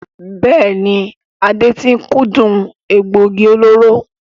Bẹ́ẹ̀ni, Ade tí ń kúndùn egbògi olóró.